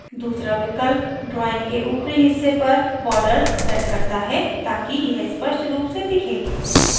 दूसरा विकल्प drawing के ऊपरी हिस्से पर border sets करता है ताकि यह स्पष्ट रूप से दिखे